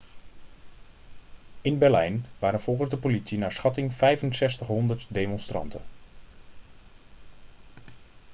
in berlijn waren volgens de politie naar schatting 6500 demonstranten